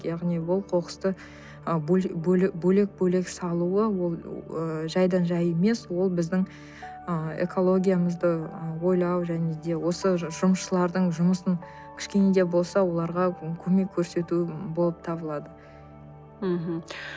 яғни ол қоқысты бөлек бөлек салуы ол ыыы жайдан жай емес ол біздің ы экологиямызды ойлау және де осы жұмысшылардың жұмысын кішкене де болса оларға көмек көрсету болып табылады мхм